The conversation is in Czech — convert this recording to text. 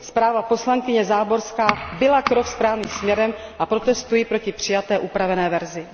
Zpráva poslankyně Záborská byla krok správným směrem a protestuji proti přijaté upravené verzi.